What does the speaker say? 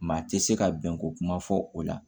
Maa tɛ se ka bɛn ko kuma fɔ o la